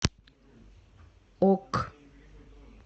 ок